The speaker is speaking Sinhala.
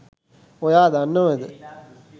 ඔයා දන්නවද